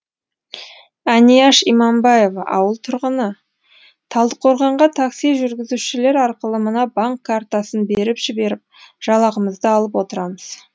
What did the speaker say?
әнияш иманбаева ауыл тұрғыны талдықорғанға такси жүргізушілер арқылы мына банк картасын беріп жіберіп жалақымызды алып отырамыз